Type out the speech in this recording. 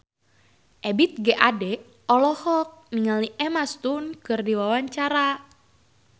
Ebith G. Ade olohok ningali Emma Stone keur diwawancara